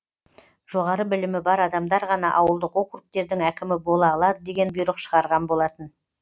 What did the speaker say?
жоғары білімі бар адамдар ғана ауылдық округтердің әкімі бола алады деген бұйрық шығарған болатын